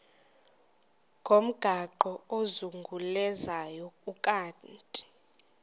ngomgaqo ozungulezayo ukanti